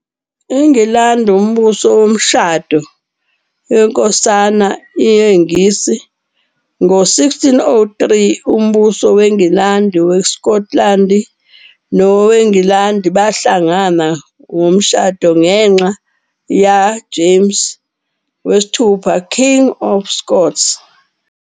I-Ayilandi umbuso womshado yinskosana isiNgisi. e-1603, imibuso wengilandi, wesiKotilandi no-Ayilandi bahlangana womshado ngenxa yaJames VI, King of Scots.